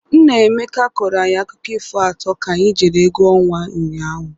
Nna Emeka kọrọ anyị akụkọ ifo atọ ka anyị jere egwu ọnwa ụnyaahụ.